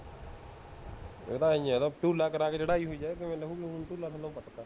ਇਹ ਤਾਂ ਐਵੇਂ ਹੀ ਹੈ, ਧੁਲਾ ਕਰ ਕੇ ਚੜਾਈ ਹੋਈ ਹੈ, ਇਹ ਕਿਵੇਂ ਲੇਹੁਗੀ? ਹੁਣ ਧੁਲਾ ਥਲੋਂ ਕੱਟਤਾ